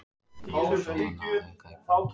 Andrés dró annað augað í pung